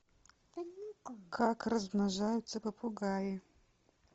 как размножаются попугаи